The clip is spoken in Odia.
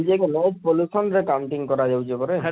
ଇଟା pollution ର counting କରା ଯାଉଛେ ପରେ,